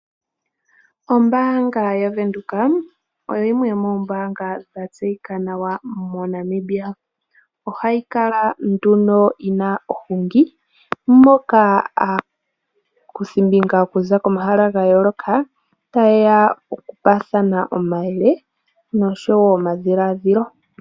Ombaanga yaVenduka oyimwe yomoombaanga dha tseyika nawa moNamibia. Ohayi kala nduno yina ohungi. Moka aakuthimbinga okuza komahala ga yooloka taye ya okupaathana omayele nosho wo omadhiladhilo.